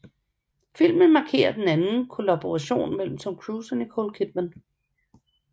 Filmen markerer den anden kollaboration mellem Tom Cruise og Nicole Kidman